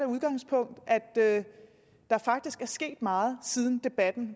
udgangspunkt at der faktisk er sket meget siden debatten